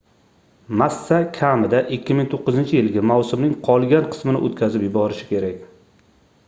massa kamida 2009-yilgi mavsumning qolgan qismini oʻtkazib yuborishi kerak